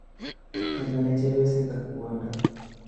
Konyone chebyoset ak kwondo